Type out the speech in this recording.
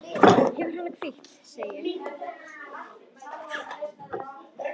Hafðu hana hvíta, segi ég.